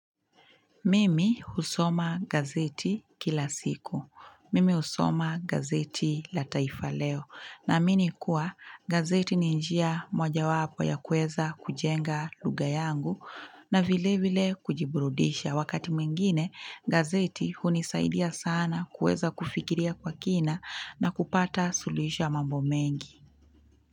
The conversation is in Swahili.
Mimi husoma gazeti kila siku. Mimi husoma gazeti la taifa leo. Naamini kuwa gazeti ni njia moja wapo ya kueza kujenga lugha yangu na vile vile kujiburudisha. Wakati mwingine gazeti hunisaidia sana kueza kufikiria kwa kina na kupata suluhisho ya mambo mengi.